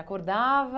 Acordava?